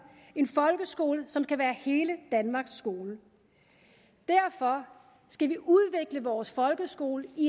en folkeskole som kan være hele danmarks skole derfor skal vi udvikle vores folkeskole i